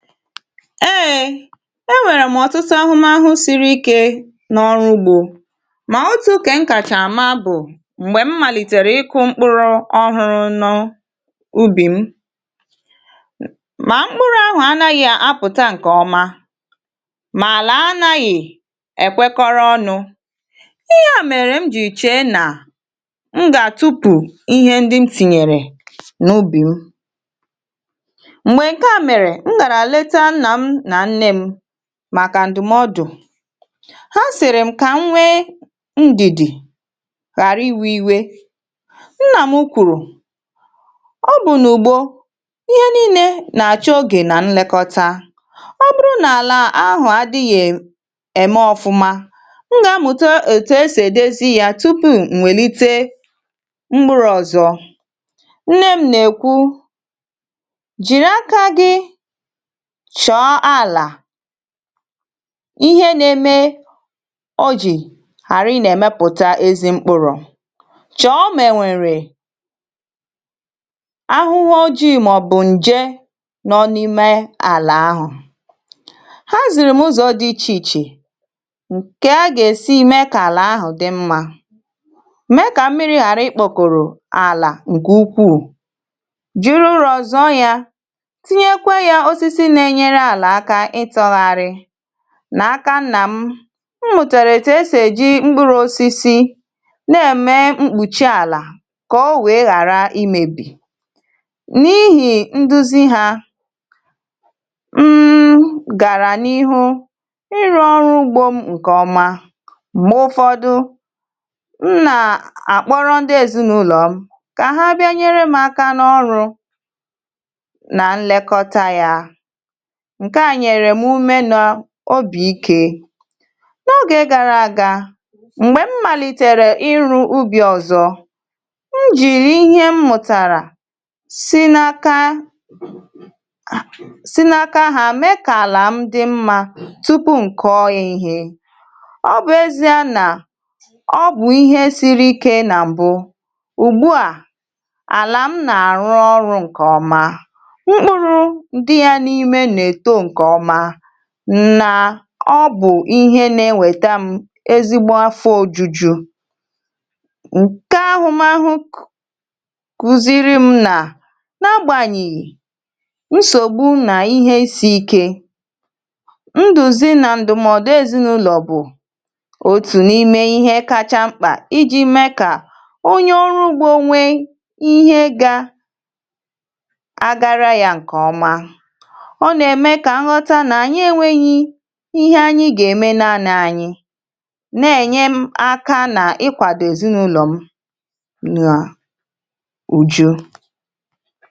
Ee e nwere m ọtụtụ ahụmahụ siri ike n'ọrụ ugbo mana otu nke m kacha ma bụ mgbe m malitere ịkụ mkpụrụ ọhụrụ n'ubi m ma mkpụrụ ahụ anaghị apụta nke ọma ma ala anaghị ekwekọrọ ọnụ. Ihe a mere m ji chee na m ga-atụtụ ihe ndị m tinyere n'ubi m. Mgbe nke a mere, m gara leta nna m na nne m maka ndụmọdụ. Ha sịrị m ka m nwee ndidi ghara iwe iwe. Nna m kwuru "Ọ bụ n'ugbo ihe niile na-achọ oge na nlekọta. Ọ bụrụ na ala ahụ adịghị e eme ọfụma, m ga-amụta etu e si edozi y rupu m welite mkpụrụ ọzọ." Nne m na-ekwu "Jiri aka gị chọọ ala ihe na-eme o ji ghara ị na-emepụta ezi mkpụrụ. Chọọ ma e nwere ahụhụ ojii maọbụ nje nọ n'ime ala ahụ." Ha ziri m ụzọ dị iche iche ka a ga-esi mee ka ala ahụ dị mma. Mee ka mmiri ghara ịkpọkoro ala nke ukwuu, jiri ụ́rọ zọọ ya. Tinyekwa ya osisi na-enyere ala aka ịtọnarị. N'aka nna m, m mụtara etu e si eji mkpụrụ osisi na-eme mkpuchi ala ka o wee ghara imebi. N'ihi nduzi ha, mmm gara n'ihu ịrụ ọrụ ugbo m nke ọma. Mgbe ụfọdụ, m na a akpọrụ ndị ezinụlọ m ka ha bịa nyere m aka n'ọrụ na nlekọta ya. Nke a nyere m ume na obi ike. N'oge gara aga, mgbe m malitere ịrụ ubi ọzọ, m jiri ihe m mụtara di n'aka si n'aka ha mee ka ala m dị mma tupu m kọọ ya ihe. Ọ bụ ezie na ọ bụ ihe siri ike na mbụ. Ugbu a, ala m na-arụ ọrụ nke ọma. Mkpụrụ dị ya n'ime na-eto nke ọma n na ọ bụ ihe na-eweta m ezigbo afọ ojuju. Nke ahụmahụ kụziiri m na n'agbanyị nsogbu m na ihe isiike, nduzi na ndụmọdụ ezinụlọ bụ otu n'ime ihe kacha mkpa iji mee ka onye ọrụ ugbo nwee ihe ga agara ya nke ọma. Ọ na-eme ka m ghọta na anyị enweghị ihe anyị ga-eme naanị anyị, na-enye m aka ịkwado ezinụlọ m n'uju.